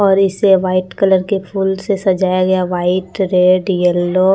और इसे white colour की फूल से सजाया गया व्हाइट रेड येलो --